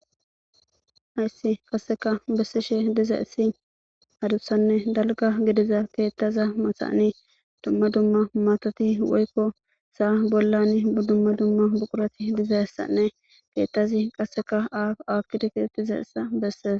Hayssi qasseka bessishe diza issi hadussanne dalga gediza keettaza masaani dumma dumma matoti woykko saa bollan buddumma dumma buqurati diza issanne keettazi qasseka aakkideketettiza issa besseesa